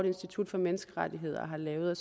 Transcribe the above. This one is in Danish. institut for menneskerettigheder har lavet